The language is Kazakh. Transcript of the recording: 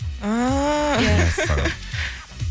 ааа мәссаған